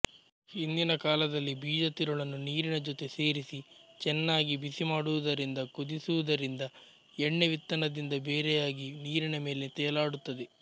ಹಿಂದಿನ ಕಾಲದಲ್ಲಿ ಬೀಜತಿರುಳನ್ನು ನೀರಿನ ಜೊತೆ ಸೇರಿಸಿ ಚೆನ್ನಾಗಿ ಬಿಸಿ ಮಾಡುವುದರಿಂದಕುದಿಸುವುದರಿಂದ ಎಣ್ಣೆ ವಿತ್ತನದಿಂದ ಬೇರೆಯಾಗಿ ನೀರಿನ ಮೇಲೆ ತೇಲಾಡುತ್ತದೆ